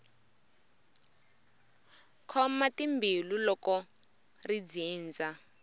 khoma timbilu loko ri dzindza